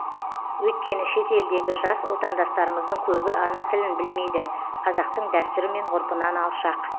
өйткені шет елдегі жас отандастарымыздың көбі ана тілін білмейді қазақтың дәстүрі мен ғұрпынан алшақ